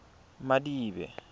madibe